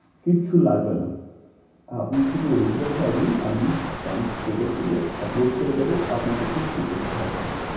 কিচ্ছু লাগবে না আপনি শুধু original টা দিন আমি cam photo তুলে upload করে দেব আপনাকে কিচ্ছু করতে হবে না।